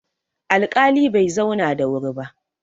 alƙali Bai zauna da wuri ba